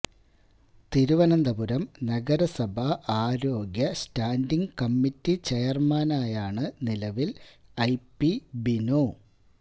തിരുവനന്തപുരം നഗരസഭ ആരോഗ്യ standing committee ചെയർമാനായാണ് നിലവിൽ ഐ പി ബിനു